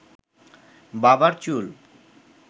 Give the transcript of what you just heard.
বাবার চুল